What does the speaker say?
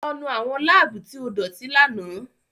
Lọ nu awọn labuu ti o idoti làná!